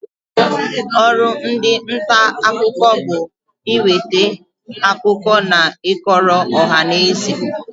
Ọrụ ndị nta akụkọ bụ ị nweta akụkọ na ị kọrọ ọhanaeze.